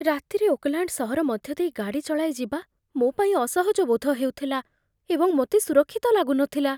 ରାତିରେ ଓକଲାଣ୍ଡ ସହର ମଧ୍ୟ ଦେଇ ଗାଡ଼ି ଚଳାଇ ଯିବା ମୋ ପାଇଁ ଅସହଜ ବୋଧ ହେଉଥିଲା ଏବଂ ମୋତେ ସୁରକ୍ଷିତ ଲାଗୁନଥିଲା